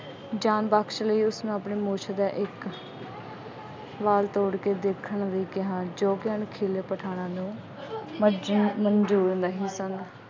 ਜਾਨ ਬਖਸ਼ ਲਈ, ਉਸਨੂੰ ਆਪਣੀ ਮੁੱਛ ਦਾ ਇੱਕ ਵਾਲ ਤੋੜ ਕੇ ਦੇਖਣ ਲਈ ਕਿਹਾ ਜੋ ਕਿ ਅਣਖੀਲੇ ਪਠਾਨਾਂ ਨੂੰ ਮੰਨਜ਼ੂਰ ਮੰਨਜ਼ੂਰ ਨਹੀਂ ਸੀ।